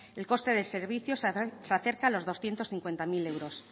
el coste del servicio se acerca a los doscientos cincuenta mil euros